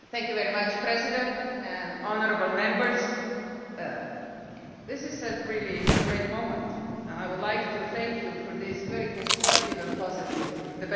Mr President and honourable members, this is a really great moment, and I would like to thank you for this very constructive and positive debate.